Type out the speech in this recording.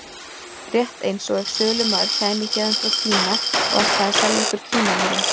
Rétt eins og ef sölumaður kæmi héðan frá Kína og ætlaði að selja okkur Kínamúrinn.